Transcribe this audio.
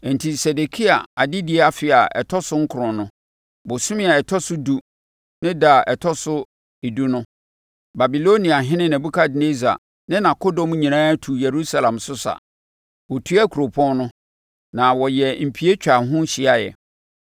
Enti Sedekia adedie afe a ɛtɔ so nkron no, bosome a ɛtɔ so edu ne da a ɛtɔ so edu no, Babiloniahene Nebukadnessar ne nʼakodɔm nyinaa tuu Yerusalem so sa; Wɔtuaa kuropɔn no, na wɔyɛɛ mpie twaa ho hyiaeɛ.